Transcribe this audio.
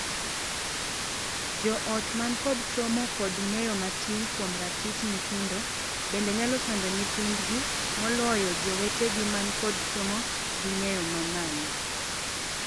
Joot man kod somo kod ng'eyo matin kuom ratich nyithindo bende nyalo sando nyithidgi moloyo jowetegi man kod somo gi ng'eyo mamalo.